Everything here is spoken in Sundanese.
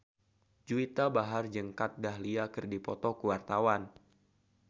Juwita Bahar jeung Kat Dahlia keur dipoto ku wartawan